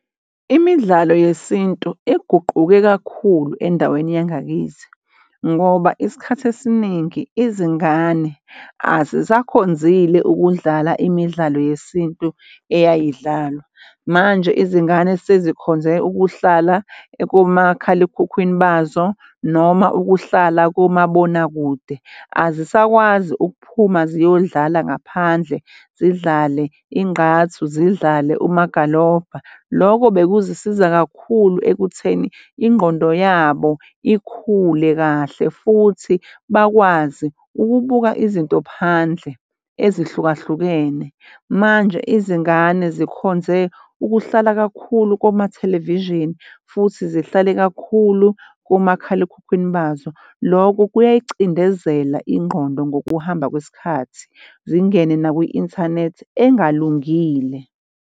Imidlalo yesintu iguquke kakhulu endaweni yangakithi ngoba isikhathi esiningi izingane azisakhonzile ukudlala imidlalo yesintu eyayidlalwa. Manje izingane sezikhonze ukuhlala komakhalekhukhwini bazo noma ukuhlala kumabonakude azisakwazi ukuphuma ziyodlala ngaphandle zidlale ingqathu, zidlale umagalobha. Loko bekuzisiza kakhulu ekutheni ingqondo yabo ikhule kahle futhi bakwazi ukubuka izinto phandle ezihlukahlukene. Manje, izingane zikhonze ukuhlala kakhulu koma-television, futhi zihlale kakhulu komakhalekhukhwini bazo. Loko kuyayicindezela ingqondo ngokuhamba kwesikhathi, zingene nakwi-inthanethi engalungile.